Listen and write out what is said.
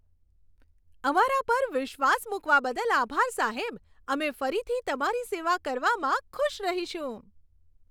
અમારા પર વિશ્વાસ મૂકવા બદલ આભાર, સાહેબ. અમે ફરીથી તમારી સેવા કરવામાં ખુશ રહીશું.